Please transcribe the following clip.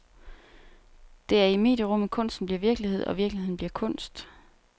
Det er i medierummet, kunsten bliver virkelighed, og virkeligheden bliver kunst.